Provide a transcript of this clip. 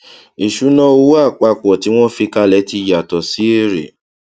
ìṣúná owó apapọ tí wọn fi kalẹ tí yàtọ sí èrè